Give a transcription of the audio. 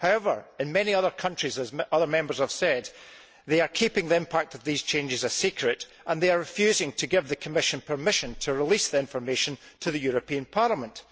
However, in many other countries as other Members have said they are keeping the impact of these changes a secret and are refusing to give the Commission permission to release the information to the European Parliament.